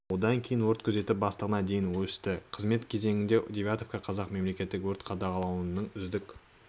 одан кейін өрт күзеті бастығына дейін өсті қызмет кезеңінде девятовқа қазақ мемлекеттік өрт қадағалаудың үздік